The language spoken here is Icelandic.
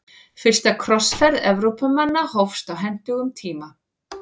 Fyrsta krossferð Evrópumanna hófst á hentugum tíma.